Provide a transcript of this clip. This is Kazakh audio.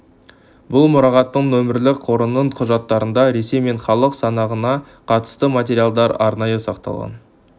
бұл мұрағаттың нөмірлі қорының құжаттарында ресей мен халық санағына қатысты материалдар арнайы сақталған